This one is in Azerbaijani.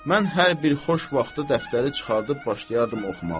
Mən hər bir xoş vaxtı dəftəri çıxardıb başlayardım oxumağı.